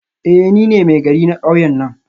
Eh nine Maigari na kauyen nan